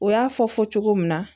U y'a fɔ fɔ cogo min na